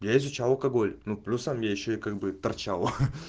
я изучал алкоголь но плюсом я ещё и как бы торчал